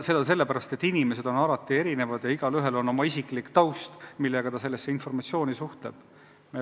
Inimesed on alati erinevad ja igaühel on oma isiklik taust, mille pinnalt ta informatsiooni suhtub.